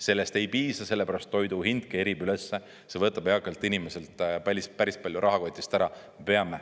Sellest ei piisa selle pärast, et toidu hind kerkib ülesse, see võtab eakalt inimeselt päris palju rahakotist ära.